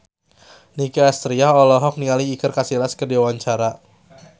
Nicky Astria olohok ningali Iker Casillas keur diwawancara